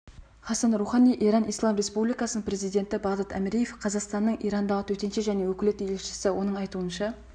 хасан рухани иран ислам республикасының президенті бағдат әміреев қазақстанның ирандағы төтенше және өкілетті елшісі оның айтуынша